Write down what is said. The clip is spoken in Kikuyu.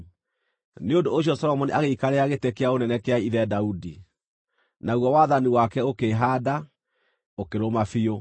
Nĩ ũndũ ũcio Solomoni agĩikarĩra gĩtĩ kĩa ũnene kĩa ithe Daudi, naguo wathani wake ũkĩĩhaanda, ũkĩrũma biũ.